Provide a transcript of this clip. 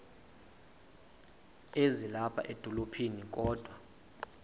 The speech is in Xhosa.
ezilapha edolophini kodwa